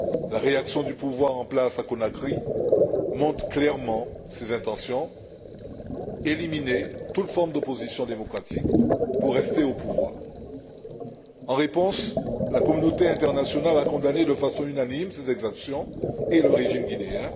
La réaction du pouvoir en place à Conakry montre clairement ses intentions éliminer toute forme d'opposition démocratique pour rester au pouvoir. En réponse, la communauté internationale a condamné de façon unanime ces exactions et le régime guinéen.